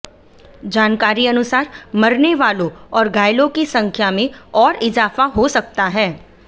जानकारी अनुसार मरने वालों और घायलों की संख्या में और इजाफा हो सकता है